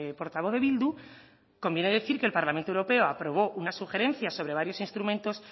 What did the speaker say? portavoz de bildu conviene decir que el parlamento europeo aprobó una sugerencia sobre varios instrumentos